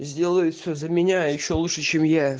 сделают все за меня ещё лучше чем я